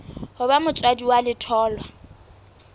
ho ba motswadi wa letholwa